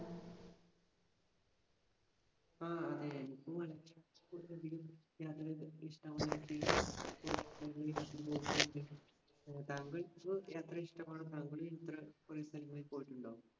ആഹ് അതെ. എനിക്കും വളരെ യാത്രകൾക്ക് ഇഷ്ടമുള്ള ഏർ താങ്കൾക്ക് യാത്ര ഇഷ്ടമാണ് കുറെ സ്ഥലങ്ങളിൽ പോയിട്ടുണ്ടോ?